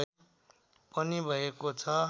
पनि भएको छ